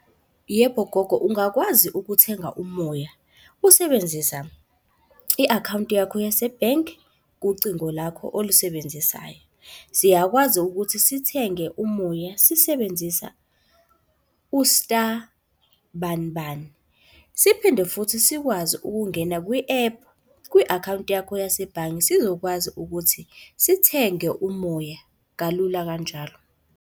Yebo, gogo, ungakwazi ukuthenga umoya, usebenzisa i-akhawunti yakho yase-bank, kucingo lakho olisebenzisayo. Siyakwazi ukuthi sithenge umoya sisebenzisa u-star bani bani. Siphinde futhi sikwazi ukungena kwi-app kwi-akhawunti yakho yasebhange sizokwazi ukuthi sithenge umoya kalula kanjalo.